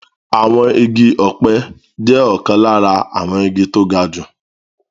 Àwọn igi ọ̀pẹ jẹ́ ọ̀kan lára àwọn igi tó ga jù